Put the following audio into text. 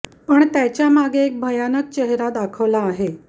पण त्याच्या मागे एक भयानक चेहरा दाखवला आहे